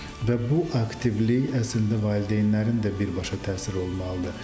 Və bu aktivlik əslində valideynlərin də birbaşa təsiri olmalıdır.